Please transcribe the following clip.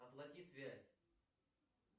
оплати связь